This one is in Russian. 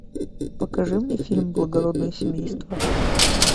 покажи мне фильм благородное семейство